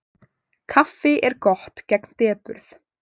Kaffi er gott gegn depurð.